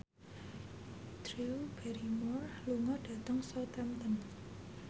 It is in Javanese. Drew Barrymore lunga dhateng Southampton